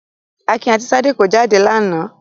Akin àti Ṣadé kọ jáde lánàá.